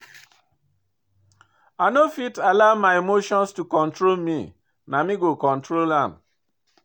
I no fit allow my emotion to control me, na me go control am.